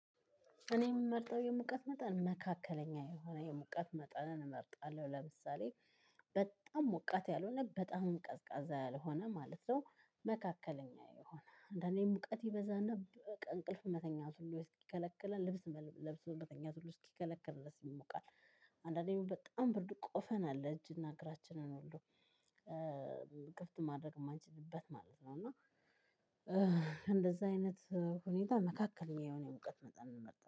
እኔ እምመርጠው የሙቀት መጠን መካከለኛ የሆነ የሙቀት መጠንን እመርጣለሁ ለምሳሌ በጣም ሞቃት ያልሆነ በጣምም ቀዝቃዛ ያልሆነ ማለት ነው። መካከለኛ የሆነ አንዳንዴ ሙቀት ይበዛና እንቅልፍ መተኛት ሁሉ ይከለክላል ልብስ መተኛት ሁሉ እስኪከለክል ድረስ ይሞቃል። አንዳንዴ በጣም ብርዱ ቆፈን አለ እጅና እግራችንን ሁሉ ክፍት ማድረግ እማንችልበት ማለት ነው። እና እንደዛ አይነት ሁኔታ መካከለኛ የሆነ የሙቀት መጠን እንመርጣለሁ